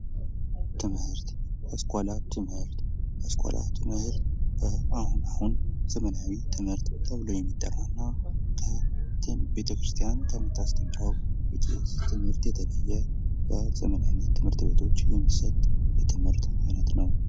ትምህርት ያስኳላ ትምህርት ፡-ያስኳላ ትምህርት አቡነ አሁን ዘመናዊ ትምህርት ተብሎ የሚጠራና ቤተ-ክርስቲያን ከምታስተምረው የቄስ ትምህርት የተለየ በዘመናዊ ትምህርት ቤቶች የሚሰጥ የትምህርት አይነት ነው።